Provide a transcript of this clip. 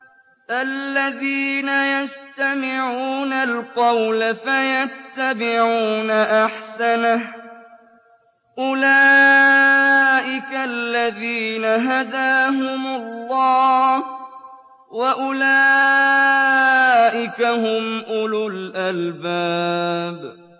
الَّذِينَ يَسْتَمِعُونَ الْقَوْلَ فَيَتَّبِعُونَ أَحْسَنَهُ ۚ أُولَٰئِكَ الَّذِينَ هَدَاهُمُ اللَّهُ ۖ وَأُولَٰئِكَ هُمْ أُولُو الْأَلْبَابِ